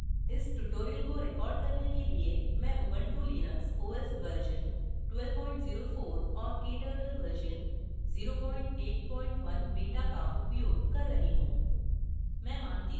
इस tutorial को record करने के लिए मैं उबंटु लिनक्स os वर्ज़न 1204 और kturtle वर्ज़न 081 बीटा का उपयोग कर रही हूँ